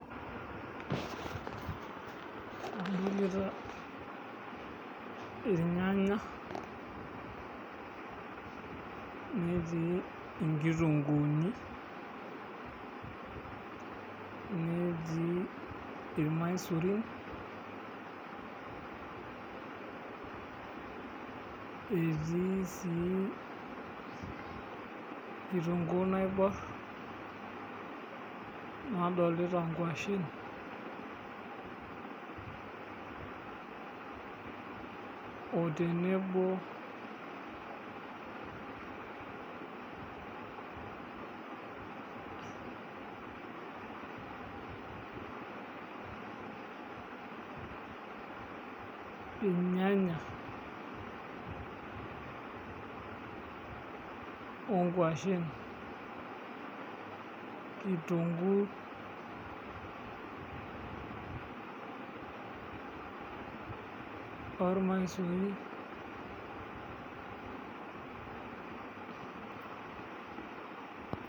Adolita irnyanya netiibnkituunguni netii irmaisurin etii si kitunguu naibor nadolita ngwashen otenebo irnyanya, onkwashen ,kitunguu ormaisurin .